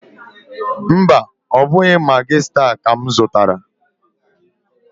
Mba, ọ bụghị Magị staa ka m zụrụ.